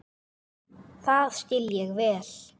Það skil ég vel!